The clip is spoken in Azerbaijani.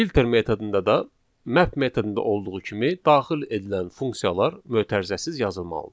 Filter metodunda da map metodunda olduğu kimi daxil edilən funksiyalar mötərizəsiz yazılmalıdır.